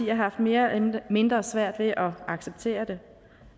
har haft mere eller mindre svært ved at acceptere det